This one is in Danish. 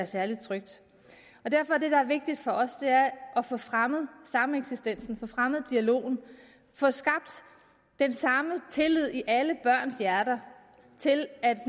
særlig tryg derfor er vigtigt for os at få fremmet sameksistensen få fremmet dialogen få skabt den samme tillid i alle børns hjerter til at